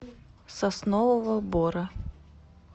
соснового бора